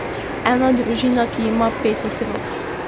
Ena družina, ki ima pet otrok.